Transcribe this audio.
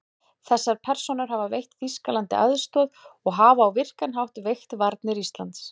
Þessar persónur hafa veitt Þýskalandi aðstoð og hafa á virkan hátt veikt varnir Íslands.